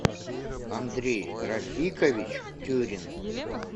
андрей рафикович тюрин